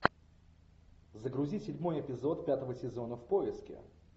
загрузи седьмой эпизод пятого сезона в поиске